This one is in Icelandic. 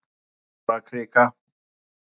Stórakrika